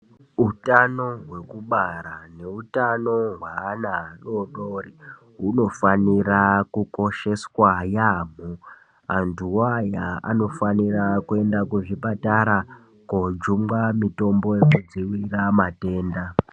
Utano hwekubara neutano hweana adodori, hunofanira kukosheswa yaamho. Antuwo aya anofanira kuenda kuzvipatara, kojungwa mitombo yekudziirira matenda.